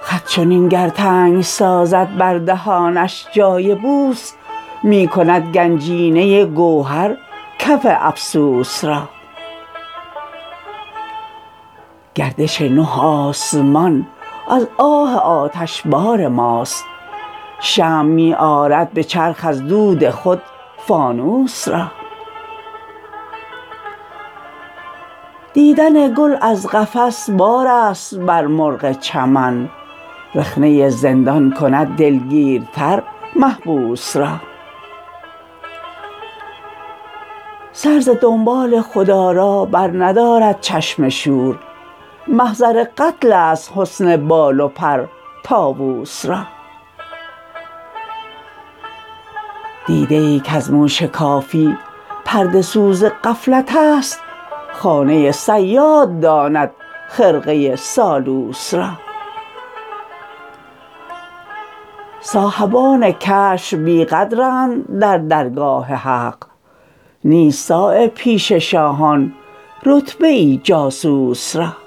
خط چنین گر تنگ سازد بر دهانش جای بوس می کند گنجینه گوهر کف افسوس را گردش نه آسمان از آه آتشبار ماست شمع می آرد به چرخ از دود خود فانوس را دیدن گل از قفس بارست بر مرغ چمن رخنه زندان کند دلگیرتر محبوس را سر ز دنبال خودآرا بر ندارد چشم شور محضر قتل است حسن بال و پر طاوس را دیده ای کز مو شکافی پرده سوز غفلت است خانه صیاد داند خرقه سالوس را صاحبان کشف بیقدرند در درگاه حق نیست صایب پیش شاهان رتبه ای جاسوس را